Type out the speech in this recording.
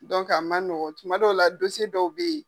a man nɔgɔn. Tuma dɔw la dɔw be yen.